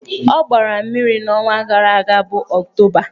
Ọ gbara mmiri n'ọnwa gara aga bụ Ọktoba.